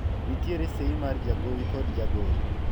nitiere sei mar jagowi kod jagoro